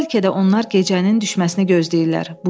Bəlkə də onlar gecənin düşməsini gözləyirlər.